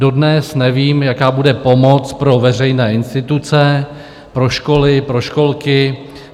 Dodnes nevím, jaká bude pomoc pro veřejné instituce, pro školy, pro školky.